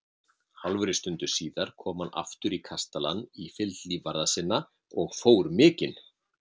Hálfri stundu síðar kom hann aftur í kastalann í fylgd lífvarða sinna og fór mikinn.